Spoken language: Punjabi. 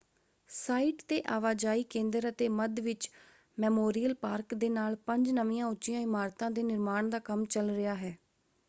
ਸਾਈਟ ‘ਤੇ ਆਵਾਜਾਈ ਕੇਂਦਰ ਅਤੇ ਮੱਧ ਵਿੱਚ ਮੈਮੋਰੀਅਲ ਪਾਰਕ ਦੇ ਨਾਲ ਪੰਜ ਨਵੀਆਂ ਉੱਚੀਆਂ ਇਮਾਰਤਾਂ ਦੇ ਨਿਰਮਾਣ ਦਾ ਕੰਮ ਚੱਲ ਰਿਹਾ ਹੈ।